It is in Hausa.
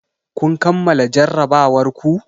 Kun kammala jarrabawar ku?